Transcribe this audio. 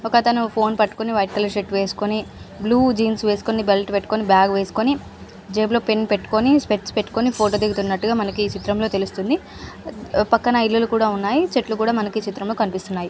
ఒకతను ఫోన్ పట్టుకొని white colour shirt వేసుకొని బ్లూ జీన్స్ వేసుకొని బెల్ట్ పెట్టుకొని బ్యాగ్ వేసుకొని జేబులో పెన్ పెట్టుకొని స్పెర్మ్స్ పెట్టుకొని ఫోటో దిగుతున్నట్టుగా మనకి ఈ చిత్రంలో తెలుస్తుంది. పక్కన ఇల్లులు ఉన్నాయి. చెట్లు కూడా కనిపిస్తున్నాయి.